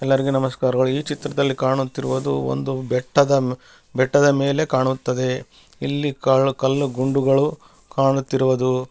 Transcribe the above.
ಎಲ್ಲರಿಗೆ ನಮಸ್ಕಾರಗಳು ಈ ಚಿತ್ರದಲ್ಲಿ ಕಾಣುತ್ತಿರುವುದು ಒಂದು ಬೆಟ್ಟದ ಬೆಟ್ಟದ ಮೇಲೆ ಕಾಣುತ್ತದೆ ಇಲ್ಲಿ ಕಲ್ಲು ಗುಂಡುಗಳು ಕಾಣುತ್ತಿರುವುದು --